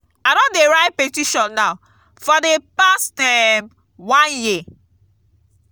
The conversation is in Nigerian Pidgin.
i don dey write petition now for the past um one year.